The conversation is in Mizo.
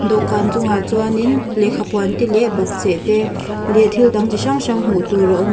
dawhkan chungah chuanin lehkhapuan te leh bakcheh te leh thil dang chi hrang hrang hmuh tur a awm a.